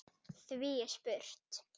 Því er spurt: